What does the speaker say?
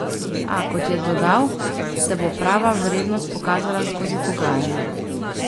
A, kot je dodal, se bo prava vrednost pokazala skozi pogajanja.